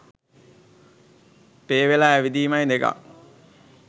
පේ වෙලා ඇවිදීමයි දෙකක්.